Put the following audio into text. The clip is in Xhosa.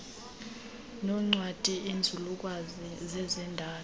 noncwadi iinzululwazi zezendalo